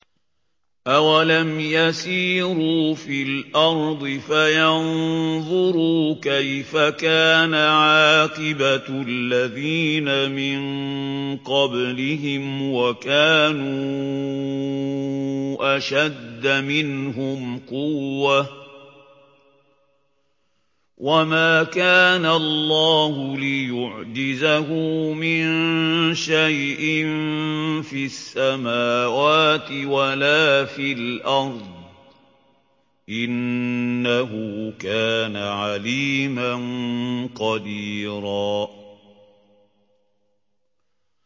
أَوَلَمْ يَسِيرُوا فِي الْأَرْضِ فَيَنظُرُوا كَيْفَ كَانَ عَاقِبَةُ الَّذِينَ مِن قَبْلِهِمْ وَكَانُوا أَشَدَّ مِنْهُمْ قُوَّةً ۚ وَمَا كَانَ اللَّهُ لِيُعْجِزَهُ مِن شَيْءٍ فِي السَّمَاوَاتِ وَلَا فِي الْأَرْضِ ۚ إِنَّهُ كَانَ عَلِيمًا قَدِيرًا